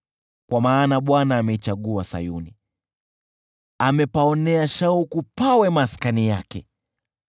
Kwa maana Bwana ameichagua Sayuni, amepaonea shauku pawe maskani yake: